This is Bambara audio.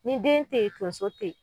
Ni den te ye tonso te ye